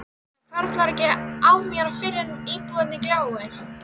Það hvarflar ekki að mér fyrr en íbúðin gljáir.